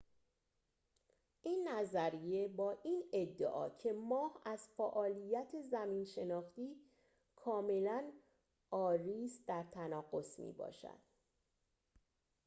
این نظریه با این ادعا که ماه از فعالیت زمین‌شناختی کاملاً عاری است در تناقض می‌باشد